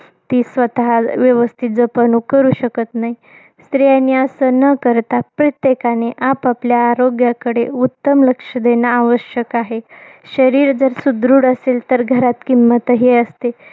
ती स्वतः व्यवस्थित जपणूक करू शकत नाही. स्त्रियांनी असं न करता, प्रत्येकाने आपापल्या आरोग्याकडे उत्तम लक्ष देणं आवश्यक आहे. शरीर जर सुदृढ असेल तर घरात किंमत असते.